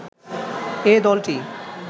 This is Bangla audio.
এ দলটি